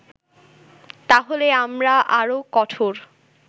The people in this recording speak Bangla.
তাহলে আমরা আরো কঠোর